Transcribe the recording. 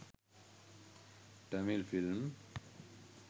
tamil film